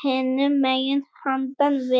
hinum megin, handan við